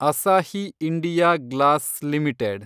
Asahi India Glass limited